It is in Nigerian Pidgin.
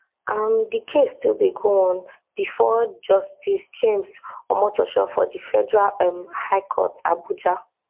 um di case still dey go on bifor justice james omotosho of di federal um high court abuja